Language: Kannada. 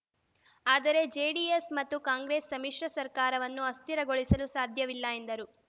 ಆದರೆ ಜೆಡಿಎಸ್‌ ಮತ್ತು ಕಾಂಗ್ರೆಸ್‌ ಸಮ್ಮಿಶ್ರ ಸರ್ಕಾರವನ್ನು ಅಸ್ಥಿರಗೊಳಿಸಲು ಸಾಧ್ಯವಿಲ್ಲ ಎಂದರು